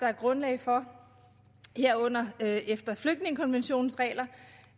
er grundlag for herunder efter flygtningekonventionens regler